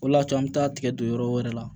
O de y'a to an bɛ taa tigɛ don yɔrɔ wɛrɛ la